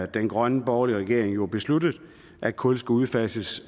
den grønne borgerlige regering besluttet at kul skal udfases